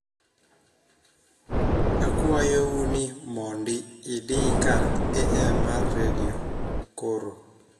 akwayou ni mondi idi kar am mar redio koro